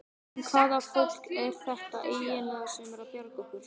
En hvaða fólk er þetta eiginlega sem er að bjarga okkur?